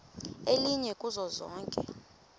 elinye kuzo zonke